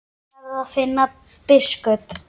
Ég verð að finna biskup!